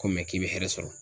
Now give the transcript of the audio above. Ko k'i be hɛrɛ sɔrɔ.